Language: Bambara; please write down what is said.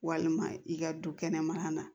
Walima i ka du kɛnɛmana na